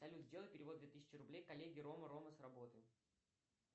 салют сделай перевод две тысячи рублей коллеге рома рома с работы